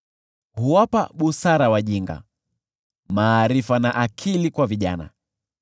huwapa busara wajinga, maarifa na akili kwa vijana;